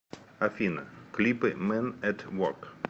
афина клипы мэн эт ворк